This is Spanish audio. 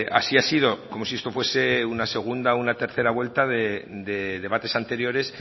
así ha sido como si esto fuese una segunda o una tercera vuelta de debates anteriores